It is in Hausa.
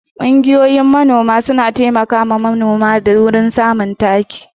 Ƙungiyoyin manoma suna taimakawa manoma wurin samun taki.